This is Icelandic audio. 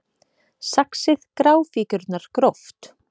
Saxið gráfíkjurnar gróft